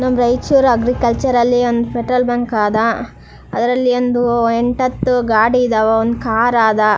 ನಮ್ಮ್ ರೈಚೂರ ಅಗ್ರಿಕಲ್ಚರಲ್ಲ್ ಒಂದು ಪೆಟ್ರೋಲ್ ಬಂಕ್ ಆದ ಅದರಲ್ಲಿ ಒಂದ್ ಎಂಟ್ ಹತ್ತ್ ಗಾಡಿ ಇದಾವ ಒಂದ್ ಕಾರ್ ಆದ .